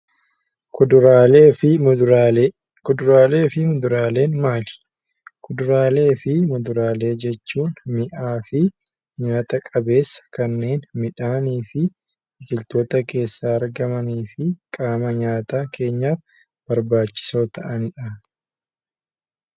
Kuduraalee fi muduraalee Kuduraalee fi muduraaleen maali? Kuduraalee fi muduraaleen mi'aawaa fi nyaata qabeessa kanneen midhaanii fi biqiltoota keessaa argamanii fi qaama nyaataa keenyaaf barbaachisoo ta'aniidha.